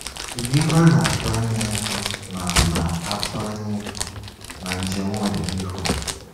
kedụ ihe ana-atụanya ịhụ na ana-atụanya ịhụ na njem n'ọdịnihu.